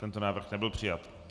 Tento návrh nebyl přijat.